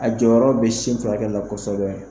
A jɔyɔrɔ be sin furakɛli la kɔsɔbɛ